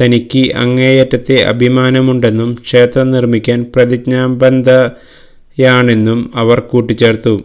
തനിക്ക് അങ്ങേയറ്റത്തെ അഭിമാനമുണ്ടെന്നും ക്ഷേത്രം നിര്മ്മിക്കാന് പ്രതിജ്ഞാബദ്ധയാണെന്നും അവര് കൂട്ടിച്ചേര്ത്തു